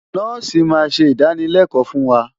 Nọ́ọ̀sì máa ṣe ìdánılẹ́kọ̀ọ́ fún wa.